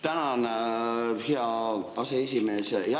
Tänan, hea aseesimees!